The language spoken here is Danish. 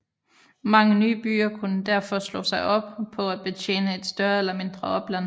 Mange nye byer kunne derfor slå sig op på at betjene et større eller mindre opland